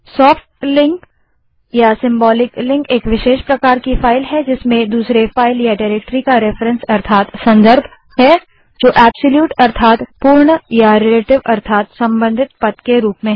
soft link एक विशेष प्रकार की फाइल है जिसमें दूसरे फाइल या डाइरेक्टरी का रेफरेंस अर्थात संदर्भ है जो पूर्ण या रिलेटिव अर्थात संबंधित पाथ के रूप में है